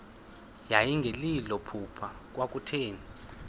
yayingelilo phupha kwakutheni